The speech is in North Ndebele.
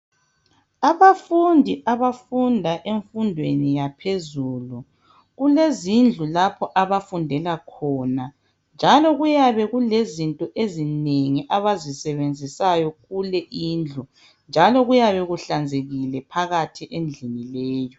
Abafundi abafunda emfundweni yaphezulu kulezindlu lapho abafundela khona njalo kuyabe kulezinto ezinengi abazisebenzisayo kule indlu njalo kuyabe kuhlanzekile phakathi endlini leyi.